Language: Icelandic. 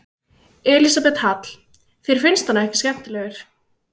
Elísabet Hall: Þér finnst hann ekki skemmtilegur?